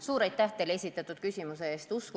Suur aitäh teile esitatud küsimuse eest!